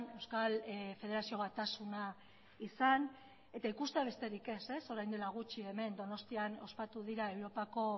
euskal federazio batasuna izan eta ikustea besterik ez orain dela gutxi hemen donostian ospatu dira europako